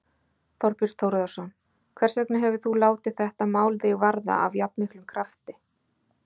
Þorbjörn Þórðarson: Hvers vegna hefur þú látið þetta mál þig varða af jafnmiklum krafti?